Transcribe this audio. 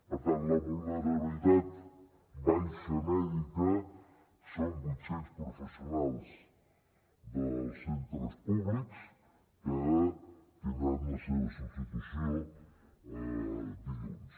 per tant la vulnerabilitat baixa mèdica són vuit cents professionals dels centres públics que tindran la seva substitució dilluns